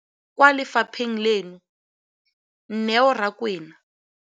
Mokaedi wa NSNP kwa lefapheng leno, Neo Rakwena,